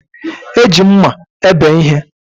E ji mma ebe ihe